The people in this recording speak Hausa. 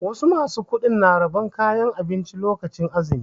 Wasu ma su kuɗin na rabon kayan abinci lokacin azumi.